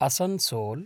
Asansol